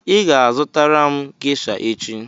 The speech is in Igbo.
ị ga-azụtara m gesha echi!